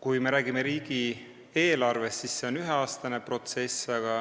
Kui me räägime riigieelarvest, siis tuleb öelda, et see on üheaastane protsess, aga